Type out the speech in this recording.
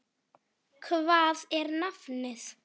Hvað er nafnið?